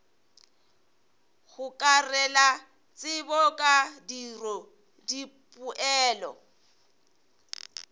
gokarela tsebo ka tiro dipoelo